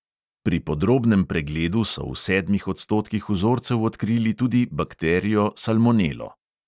Pri podrobnem pregledu so v sedmih odstotkih vzorcev odkrili tudi bakterijo salmonelo.